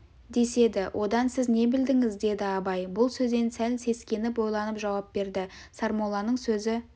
деседі одан сіз не білдіңіз деді абай бұл сөзден сәл сескеніп ойланып жауап берді сармолланың сөзі